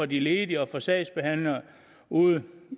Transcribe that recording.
de ledige og sagsbehandlerne ude